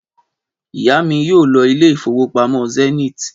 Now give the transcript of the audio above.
Ìyá mi yóò lọ ilé ìfowópamọ́ Zenith